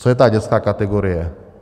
Co je ta dětská kategorie?